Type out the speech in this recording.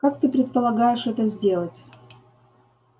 как ты предполагаешь это сделать